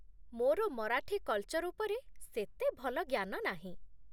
ମୋର ମରାଠୀ କଲ୍ଚର୍ ଉପରେ ସେତେ ଭଲ ଜ୍ଞାନ ନାହିଁ ।